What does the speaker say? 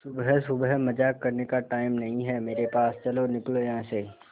सुबह सुबह मजाक करने का टाइम नहीं है मेरे पास चलो निकलो यहां से